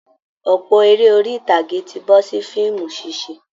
Ọ̀pọ̀ eré orí ìtàgé ti bọ́ sí fíìmù ṣíṣe